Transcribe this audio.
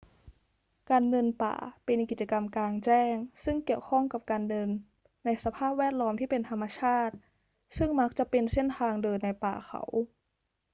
การเดินป่าเป็นกิจกรรมกลางแจ้งซึ่งเกี่ยวข้องกับการเดินในสภาพแวดล้อมที่เป็นธรรมชาติ ซึ่งมักจะเป็นเส้นทางเดินในป่าเขา